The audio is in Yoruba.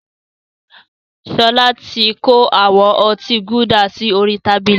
Sọlá tí kó àwọn ọtí Gulder sì orí tábìlì